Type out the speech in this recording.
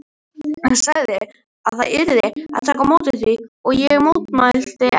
Hann sagði að það yrði að taka á því líka og ég mótmælti ekki.